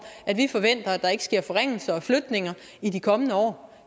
at vi forventer at der ikke sker forringelser og flytninger i de kommende år